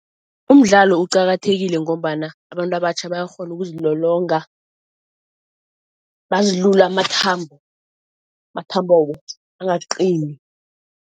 Umdlalo uqakathekile ngombana abantu abatjha bayakghona ukuzilolonga bazilule amathambo, amathambo angaqini.